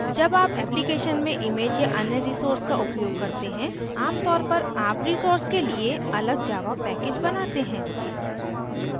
जब आप application में images या अन्य resources का उपयोग करते हैं आमतौर पर आप resources के लिए अलग java package बनाते हैं